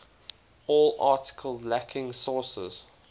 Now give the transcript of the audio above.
all articles lacking sources